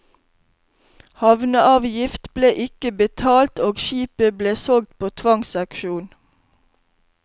Havneavgift ble ikke betalt, og skipet ble solgt på tvangsauksjon.